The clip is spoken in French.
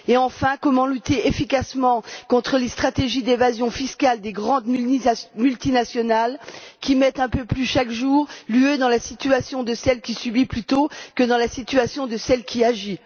Enfin, comment lutter efficacement contre les stratégies d'évasion fiscale des grandes multinationales, qui mettent un peu plus chaque jour l'Union européenne dans la situation de celle qui subit plutôt que dans la situation de celle qui agit?